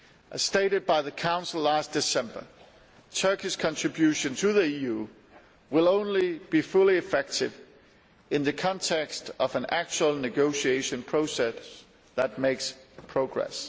As stated by the Council last December, Turkey's contribution to the EU will only be fully effective in the context of an actual negotiation process that makes progress.